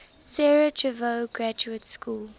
sarajevo graduate school